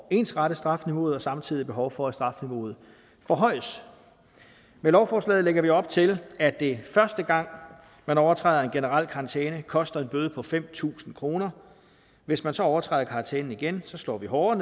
ensrette strafniveauet og samtidig behov for at strafniveauet forhøjes med lovforslaget lægger vi op til at det første gang man overtræder en generel karantæne koster en bøde på fem tusind kroner hvis man så overtræder karantænen igen slår vi hårdere